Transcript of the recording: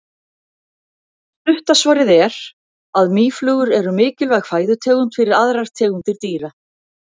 Stutta svarið er að mýflugur eru mikilvæg fæðutegund fyrir aðrar tegundir dýra.